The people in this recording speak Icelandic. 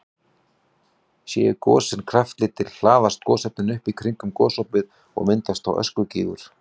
Séu gosin kraftlítil hlaðast gosefnin upp í kringum gosopið og myndast þá öskugígur.